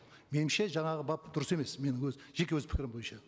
меніңше жаңағы бап дұрыс емес менің өз жеке өз пікірім бойынша